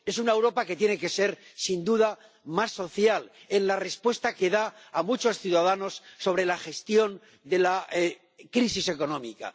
Es una Europa que tiene que ser, sin duda, más social en la respuesta que da a muchos ciudadanos sobre la gestión de la crisis económica.